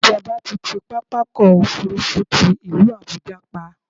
Ìjọba ti ti pápákọ̀-òfurufú ti ìlú Àbuja pa.